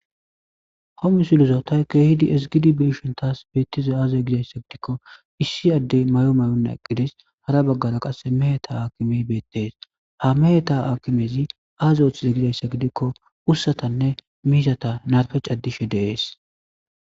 Homi suluzootay keehidi esigidi beeshon taas beettize aazey gizayssa gidikko issi addey may7o may7onna eqqidis hara baggara qasse meheta akimey beettees ha meheta akimezi aazoothize gizayssa gidikko ussatanne miizata narfec addishe deees